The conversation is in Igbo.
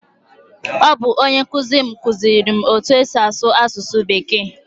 Ọ bụ onye nkụzi m kụziere m etu-esi asụ asụsụ bekee.